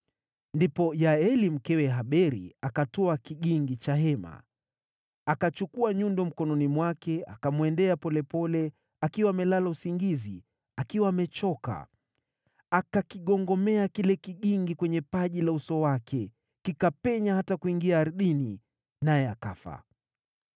Ndipo Yaeli, mkewe Heberi, akatwaa kigingi cha hema, akachukua nyundo mkononi mwake, akamwendea polepole, akiwa amelala usingizi, akiwa amechoka. Akakigongomea kile kigingi kwenye paji la uso wake, kikapenya hata kuingia ardhini, naye akafa.